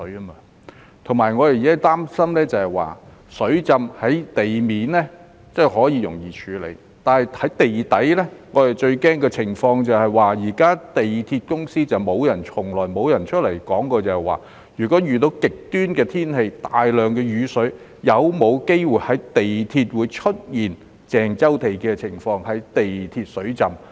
我們現時擔心的是，雖然在地面發生的水浸可容易處理，但如果在地底發生，我們最擔心的情況是，香港鐵路有限公司亦從來沒有出來交代，如果遇到極端天氣帶來大量雨水時，港鐵會否有機會出現鄭州地下鐵路水浸的情況呢？